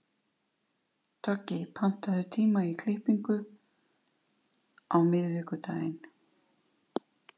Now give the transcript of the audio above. Toggi, pantaðu tíma í klippingu á miðvikudaginn.